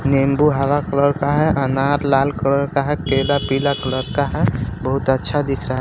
नींबू हरा कलर का है अनार लाल कलर का है केला पीला कलर का है बहुत अच्छा दिख रहा --